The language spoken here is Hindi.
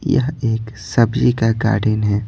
यह एक सब्जी का गार्डन है।